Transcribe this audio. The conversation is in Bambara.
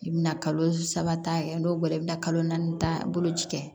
I bɛna kalo saba ta n'o bɔra i bɛna kalo naani ta boloci kɛ